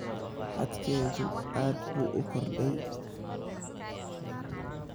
Xadkeedu aad buu u kordhay